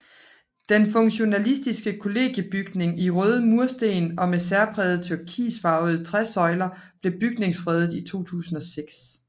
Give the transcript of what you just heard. Den funktionalistiske kollegiebygning i røde mursten og med særprægede turkisfarvede træsøjler blev bygningsfredet i 2006